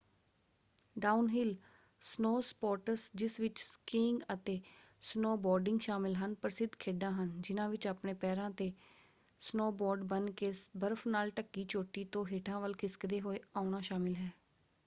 Downhill snow sports ਜਿਸ ਵਿੱਚ skiing ਅਤੇ ਸਨੋਬੋਰਡਿੰਗ ਸ਼ਾਮਲ ਹਨ ਪ੍ਰਸਿੱਧ ਖੇਡਾਂ ਹਨ ਜਿਨ੍ਹਾਂ ਵਿੱਚ ਆਪਣੇ ਪੈਰਾਂ ‘ਤੇ ਸਨੋਬੋਰਡ ਬੰਨ੍ਹ ਕੇ ਬਰਫ਼ ਨਾਲ ਢੱਕੀ ਚੋਟੀ ਤੋਂ ਹੇਠਾਂ ਵਲ ਖਿਸਕਦੇ ਹੋਏ ਆਉਣਾ ਸ਼ਾਮਲ ਹੈ।